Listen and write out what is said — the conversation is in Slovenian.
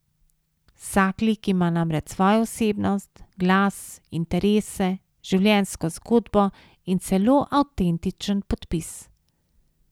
Vsak lik ima namreč svojo osebnost, glas, interese, življenjsko zgodbo in celo avtentičen podpis.